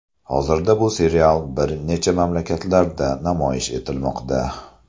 Hozirda bu serial bir necha mamlakatlarda namoyish etilmoqda.